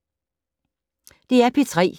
DR P3